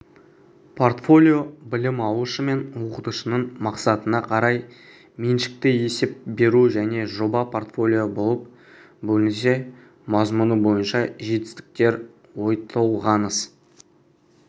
портфолио білім алушы мен оқытушының мақсатына қарай меншікті есеп беру және жоба-портфолио болып бөлінсе мазмұны бойынша жетістіктер ойтолғаныс